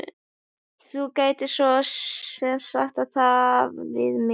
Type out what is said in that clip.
Þú gætir svo sem sagt það sama við mig.